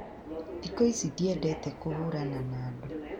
Thikũ ici ndiendete kũhũrana na andu